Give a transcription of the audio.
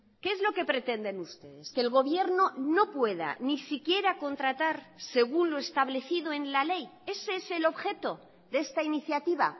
qué es lo que pretenden ustedes que el gobierno no pueda ni siquiera contratar según lo establecido en la ley ese es el objeto de esta iniciativa